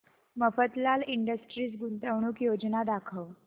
Mafatlal industries गुंतवणूक योजना दाखव